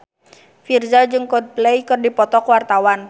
Virzha jeung Coldplay keur dipoto ku wartawan